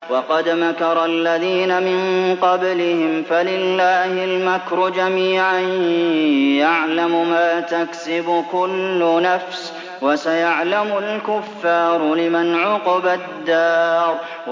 وَقَدْ مَكَرَ الَّذِينَ مِن قَبْلِهِمْ فَلِلَّهِ الْمَكْرُ جَمِيعًا ۖ يَعْلَمُ مَا تَكْسِبُ كُلُّ نَفْسٍ ۗ وَسَيَعْلَمُ الْكُفَّارُ لِمَنْ عُقْبَى الدَّارِ